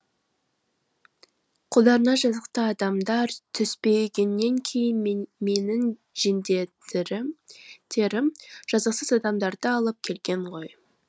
қолдарына жазықты адамдар түспегеннен кейін менің жендеттерім жазықсыз адамдарды алып келген ғой